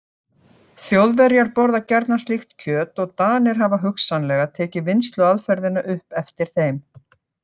Þjóðverjar borða gjarnan slíkt kjöt og Danir hafa hugsanlega tekið vinnsluaðferðina upp eftir þeim.